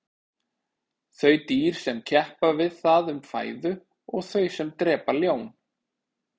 þau dýr sem keppa við það um fæðu og þau sem drepa ljón